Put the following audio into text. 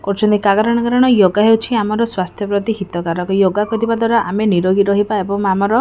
କରୁଛନ୍ତି କାଆ ଗରଣ କାରଣ ୟୋଗା ହେଉଛି ଆମର ସ୍ବାସ୍ଥ୍ୟ ପ୍ରତି ପାଇଁ ହିତକାରକ। ୟୋଗା କରିବା ଦ୍ବାରା ଆମେ ନିରୋଗୀ ରହିବା ଏବଂ ଆମର --